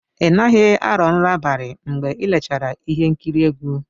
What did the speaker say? Ị naghị arọ nrọ abalị mgbe i lechara ihe nkiri egwu?